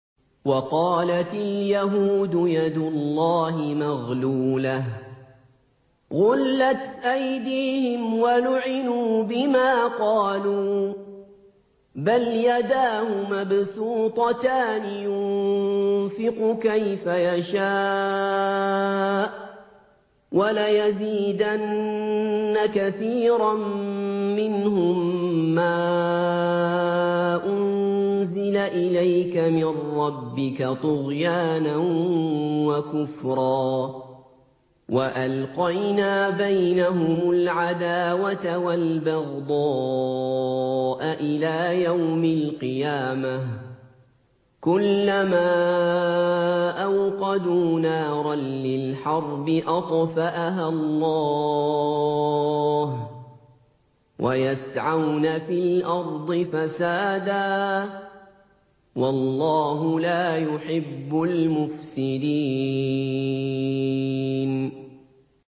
وَقَالَتِ الْيَهُودُ يَدُ اللَّهِ مَغْلُولَةٌ ۚ غُلَّتْ أَيْدِيهِمْ وَلُعِنُوا بِمَا قَالُوا ۘ بَلْ يَدَاهُ مَبْسُوطَتَانِ يُنفِقُ كَيْفَ يَشَاءُ ۚ وَلَيَزِيدَنَّ كَثِيرًا مِّنْهُم مَّا أُنزِلَ إِلَيْكَ مِن رَّبِّكَ طُغْيَانًا وَكُفْرًا ۚ وَأَلْقَيْنَا بَيْنَهُمُ الْعَدَاوَةَ وَالْبَغْضَاءَ إِلَىٰ يَوْمِ الْقِيَامَةِ ۚ كُلَّمَا أَوْقَدُوا نَارًا لِّلْحَرْبِ أَطْفَأَهَا اللَّهُ ۚ وَيَسْعَوْنَ فِي الْأَرْضِ فَسَادًا ۚ وَاللَّهُ لَا يُحِبُّ الْمُفْسِدِينَ